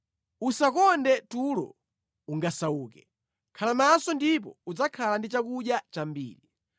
Usakonde tulo ungasauke; khala maso ndipo udzakhala ndi chakudya chambiri.